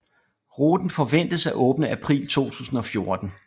Ruten forventes at åbne april 2014